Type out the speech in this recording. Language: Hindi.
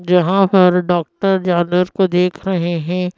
जहां पर डॉक्टर जानवर को देख रहे हैं।